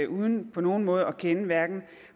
uden på nogen måde at kende hverken